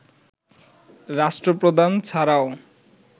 রাষ্ট্রপ্রধান ছাড়াও